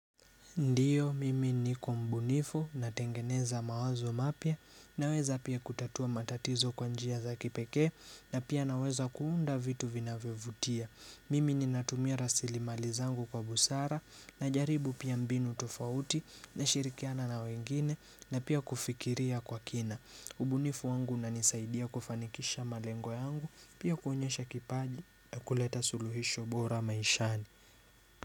Ndiyo, mimi niko mbunifu, natengeneza mawazo mapya, naweza pia kutatua matatizo kwa njia za kipekee, na pia naweza kuunda vitu vinavyovutia. Mimi ninatumia rasilimali zangu kwa busara, najaribu pia mbinu tofauti, nashirikiana na wengine, na pia kufikiria kwa kina. Ubunifu wangu unanisaidia kufanikisha malengo yangu, pia kuonyesha kipaji na kuleta suluhisho bora maishani.